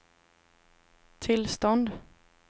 tillstånd